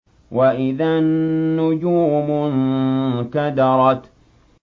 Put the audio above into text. وَإِذَا النُّجُومُ انكَدَرَتْ